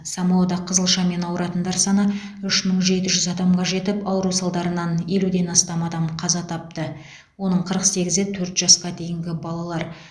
самоада қызылшамен ауыратындар саны үш мың жеті жүз адамға жетіп ауру салдарынан елуден астам адам қаза тапты оның қырық сегізі төрт жасқа дейінгі балалар